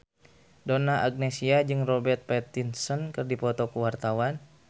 Donna Agnesia jeung Robert Pattinson keur dipoto ku wartawan